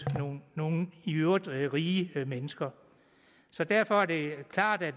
nogle nogle i øvrigt rige mennesker derfor er det klart at